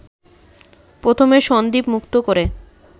প্রথমে সন্দ্বীপ মুক্ত করে